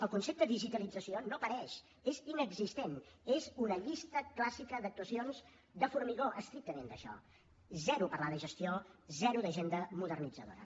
el concepte digitalització no apareix és inexistent és una llista clàssica d’actuacions de formigó estrictament això zero parlar de gestió zero d’agenda modernitzadora